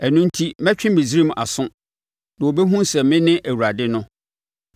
Ɛno enti mɛtwe Misraim aso, na wɔbɛhunu sɛ mene Awurade no.’ ”